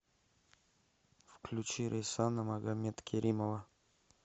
включи рейсана магомедкеримова